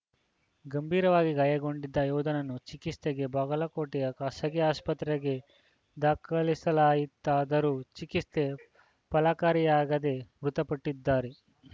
ಗಂಭೀರವಾಗಿ ಗಾಯಗೊಂಡಿದ್ದ ಯೋಧನನ್ನು ಚಿಕಿತ್ಸೆಗೆ ಬಾಗಲಕೋಟೆಯ ಖಾಸಗಿ ಆಸ್ಪತ್ರೆಗೆ ದಾಖಲಿಸಲಾಯಿತಾದರೂ ಚಿಕಿತ್ಸೆ ಫಲಕಾರಿಯಾಗದೆ ಮೃತಪಟ್ಟಿದ್ದಾರೆ